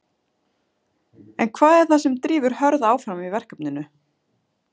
En hvað er það sem drífur Hörð áfram í verkefninu?